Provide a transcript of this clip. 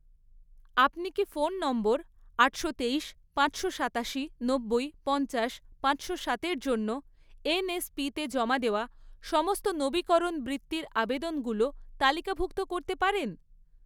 আপনি কি phone number আটশো তেইশ, পাঁচশো সাতাশি, নব্বই, পঞ্চাশ, পাঁচশো সাতের জন্য এনএসপিতে জমা দেওয়া সমস্ত নবীকরণ বৃত্তির আবেদনগুলো তালিকাভুক্ত করতে পারেন?